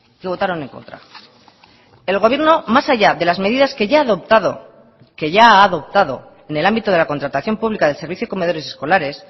que votaron en contra el gobierno más allá de las medidas que ya ha adoptado que ya ha adoptado en el ámbito de la contratación pública del servicio de comedores escolares